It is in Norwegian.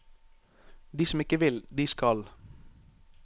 De som ikke vil, de skal.